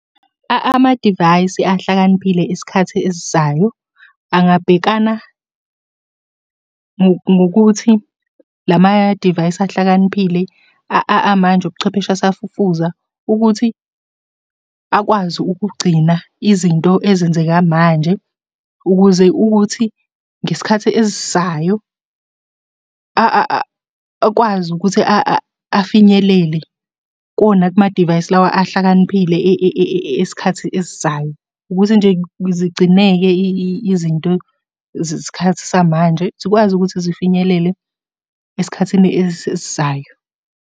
Amadivayisi ahlakaniphile isikhathi esizayo, angabhekana ngokuthi la madivayisi ahlakaniphile amanje ubuchwepheshe asafufuza, ukuthi akwazi ukugcina izinto ezenzeka manje, ukuze ukuthi ngesikhathi esizayo akwazi ukuthi afinyelele kuwona kumadivayisi lawa ahlakaniphile esikhathi esizayo, ukuthi nje zigcineke izinto zesikhathi samanje. Zikwazi ukuthi zifinyelele esikhathini esizayo.